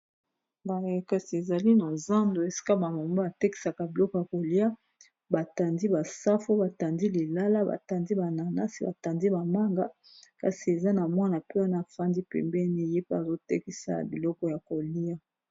Boye kasi ezali na zando esika ba mama batekisaka biloko ya kolia batandi ba safu batandi lilala batandi ba nanasi batandi ba manga kasi eza na mwana pe wana afandi pembeni ye pe azotekisa biloko ya kolia.